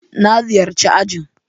Na ziyarci ajin.